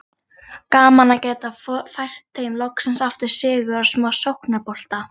Gaman að geta fært þeim loksins aftur sigur og smá sóknarbolta!